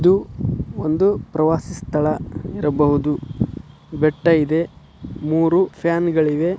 ಇದು ಒಂದು ಪ್ರವಾಸಿ ಸ್ಥಳ ಇರ್ಬಹುದು ಬೆಟ್ಟ ಇದೆ ಮೂರು ಫ್ಯಾನ್ --